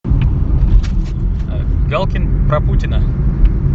галкин про путина